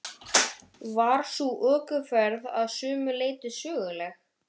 Var sú ökuferð að sumu leyti söguleg.